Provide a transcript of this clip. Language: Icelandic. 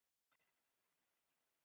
Leirbað verður aftur fín sundlaug